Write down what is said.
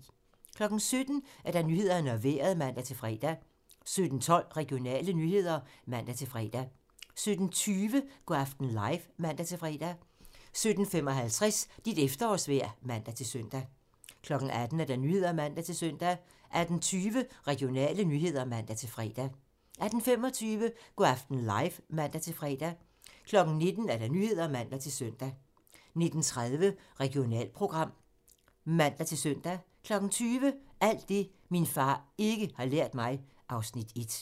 17:00: Nyhederne og Vejret (man-fre) 17:12: Regionale nyheder (man-fre) 17:20: Go' aften live (man-fre) 17:55: Dit efterårsvejr (man-søn) 18:00: Nyhederne (man-søn) 18:20: Regionale nyheder (man-fre) 18:25: Go' aften live (man-fre) 19:00: Nyhederne (man-søn) 19:30: Regionalprogram (man-søn) 20:00: Alt det, min far ikke har lært mig (Afs. 1)